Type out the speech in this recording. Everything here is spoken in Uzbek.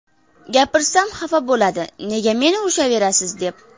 Gapirsam xafa bo‘ladi, «Nega meni urishaverasiz», deb.